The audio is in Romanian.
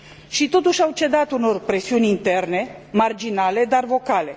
Și totuși, au cedat unor presiuni interne marginale, dar vocale.